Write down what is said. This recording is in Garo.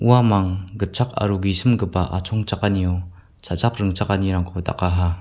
uamang gitchak aro gisimgipa achongchakanio cha·chak ringchakanirangkoba dakaha.